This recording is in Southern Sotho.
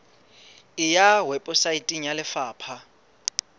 e ya weposaeteng ya lefapha